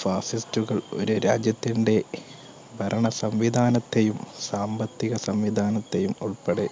fascist ഉകൾ ഒരു രാജ്യത്തിൻറെ ഭരണ സംവിദാനത്തെയും സാമ്പത്തിക സംവിദാനത്തെയും ഉൾപ്പടെ